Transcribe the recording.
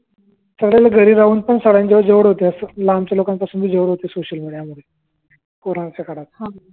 घरी राहून पण जवळ होते लांबच्या लोकांपासून पण जवळ होते सोशल मिडिया मुळ कोरोनाच